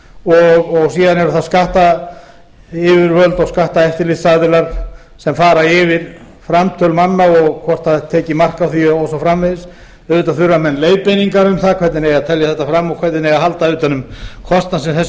og síðan eru það skattayfirvöld og skatteftirlitsaðilar sem fara yfir framtöl manna og hvort tekið er mark á því og svo framvegis auðvitað þurfa menn leiðbeiningar um það hvernig eigi að telja þetta fram og hvernig eigi að halda utan um kostnað sem þessu er